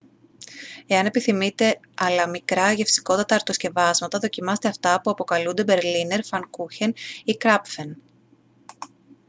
εάν επιθυμείτε αλλά μικρά γευστικότατα αρτοσκευάσματα δοκιμάστε αυτά που αποκαλούνται μπερλίνερ φανκούχεν ή κράπφεν